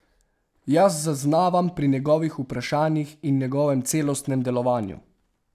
Jaz zaznavam pri njegovih vprašanjih in njegovem celostnem delovanju.